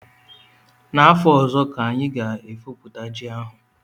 N'afọ ọzọ ka a ga-efopụta ji a